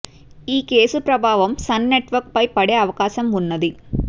ఈ కేసు ప్రభావం Sun Network పై పడే అవకాశం ఉన్నది